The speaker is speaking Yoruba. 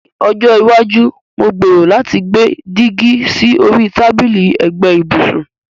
Ní ọjọ́ iwájú, mo gbèrò láti gbé dígí sí orí tábìlì ẹ̀gbẹ́ ibùsùn.